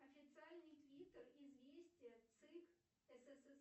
официальный твиттер известия цик